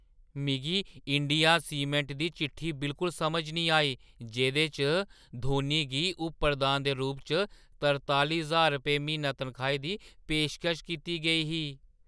मिगी India cement दी चिट्ठी बिल्कुल समझ निं आई जेह्दे च धोनी गी उप-प्रधान दे रूप च तरतालीं रपेंऽ म्हीना तन्खाही दी पेशकश कीती गेई ही।